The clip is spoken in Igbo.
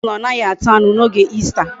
Osi na onaghi ata anu na oge Easter